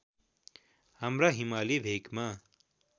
हाम्रा हिमाली भेकमा